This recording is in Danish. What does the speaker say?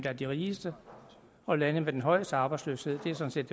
er de rigeste og lande med den højeste arbejdsløshed sådan set